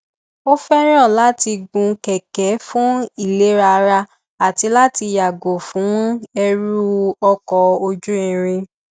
ó fẹràn láti gun kẹkẹ fún ìlera ara àti láti yàgò fún ẹrù ọkọ ojú irin